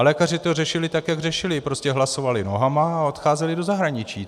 A lékaři to řešili tak, jak řešili, prostě hlasovali nohama a odcházeli do zahraničí.